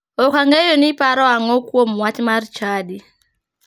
Ok ang'eyo ni iparo ang'o kuom wach mar chadi.